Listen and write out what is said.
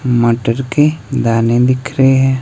मटर के दाने दिख रहे हैं।